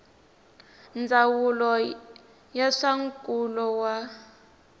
ndzawulo ya swa nkulo wa